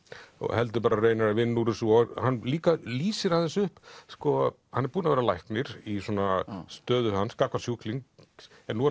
heldur bara reynir að vinna úr þessu og hann líka lýsir aðeins upp sko hann er búinn að vera læknir í svona stöðu hans gagnvart sjúkling en nú